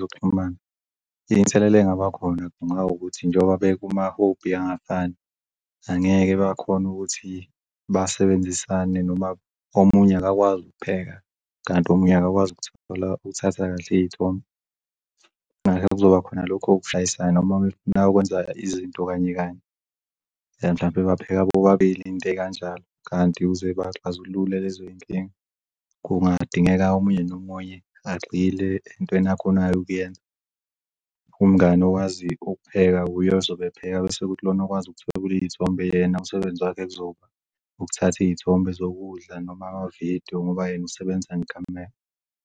zokuxhumana. Inselelo engaba khona ngenxa yokuthi njengoba bekuma-hobby angafani angeke bakhona ukuthi basebenzisane noma omunye akakwazi ukupheka kanti omunye akakwazi ukuthatha kahle iy'thombe. Ngakho-ke kuzoba khona lokho kushayisana makwenzeka izinto kanye kanye mhlampe bapheka bobabili into ey'kanjalo kanti ukuze baxazulule lezoy'nkinga kungadingeka omunye nomunye agxile entweni akhonayo ukuyenza. Umngani owazi ukupheka uye ozobe epheka bese kuthi lona okwazi ukuthwebula iy'thombe yena umsebenzi wakhe kuzoba ukuthatha iy'thombe zokudla noma amavidiyo ngoba yena usebenza ngekhamera.